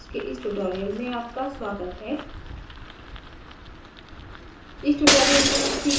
build molecules के इस tutorial में आपका स्वागत है